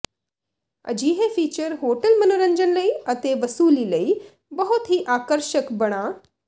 ਅਜਿਹੇ feature hotel ਮਨੋਰੰਜਨ ਲਈ ਅਤੇ ਵਸੂਲੀ ਲਈ ਬਹੁਤ ਹੀ ਆਕਰਸ਼ਕ ਬਣਾ